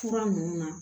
Fura ninnu na